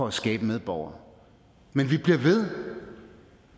at skabe medborgere men vi bliver ved